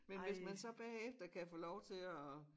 Men hvis man så bagefter kan få lov til at